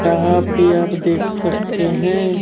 यहां पे आप देख सकते हैं।